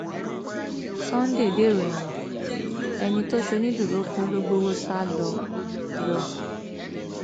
sunday dèrò ẹwọn ẹni tó ṣonídùúró fún ló gbowó sá lọ lọ